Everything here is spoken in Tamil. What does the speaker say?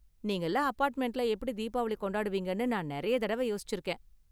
நீங்கலாம் அபார்ட்மெண்ட்ல எப்படி தீபாவளி கொண்டாடுவீங்கனு நான் நிறைய தடவ யோசிச்சுருக்கேன்.